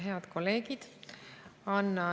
Head kolleegid!